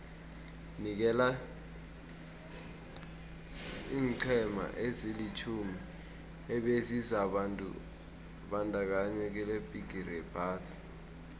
nikela iinqhema ezilitjhumi ebezizibandakanye kilebhigiri yephasi